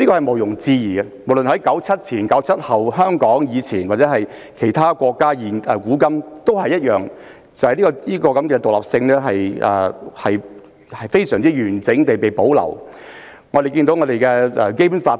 無論是1997年之前或之後，在香港還是其他國家，古往今來，這方面的獨立性均非常完整地保留下來。